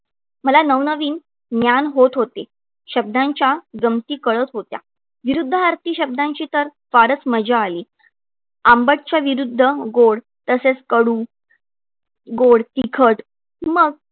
मला नवनवीन ज्ञान होत होते. शब्दांच्या गमती कळत होत्या. विरूद्धार्थी शब्दांची तर फारच मजा आली. आंबटच्या विरूद्ध गोड तसेच कडू गोड, तिखट मग